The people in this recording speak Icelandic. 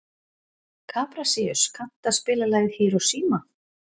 Kaprasíus, kanntu að spila lagið „Hiroshima“?